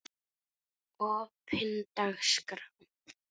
opin dagskrá